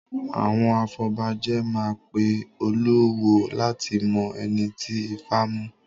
Àwọn afọbajẹ máa pe olúwo láti mọ ẹni ti Ifá mu.